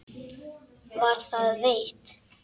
Var það veitt.